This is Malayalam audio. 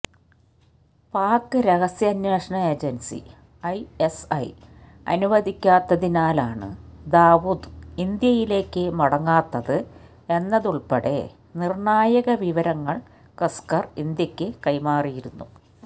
പാക് രഹസ്യാന്വേഷണ ഏജന്സി ഐഎസ്ഐ അനുവദിക്കാത്തതിനാലാണ് ദാവൂദ് ഇന്ത്യയിലേയ്ക്ക് മടങ്ങാത്തത് എന്നതുള്പ്പെടെ നിര്ണായക വിവരങ്ങള് കസ്കര് ഇന്ത്യക്ക് കൈമാറിയിരുന്നു